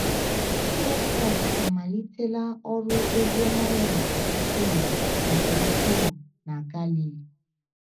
Jisọs Kraịst amalitela ọrụ oziọma ya nke ukwuu nke ukwuu na Galili.